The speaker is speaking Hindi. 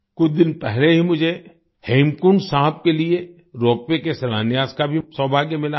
कुछ दिन पहले ही मुझे हेमकुंड साहिब के लिए रोपवे के शिलान्यास का भी सौभाग्य मिला है